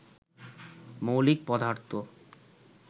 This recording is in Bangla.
মৌলিক পদার্থ